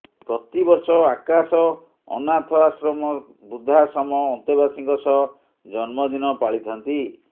ପ୍ରତିବର୍ଷ ଆକାଶ ଅନାଥ ଆଶ୍ରମ ବୃଦ୍ଧାଶ୍ରମ ଅନ୍ତେବାସୀଙ୍କ ସହ ଜନ୍ମଦିନ ପାଳିଥାନ୍ତି